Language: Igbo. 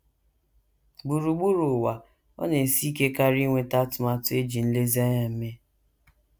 Gburugburu ụwa, ọ na - esi ike karị inweta atụmatụ e ji nlezianya mee.